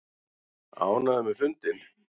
Ánægður með fundinn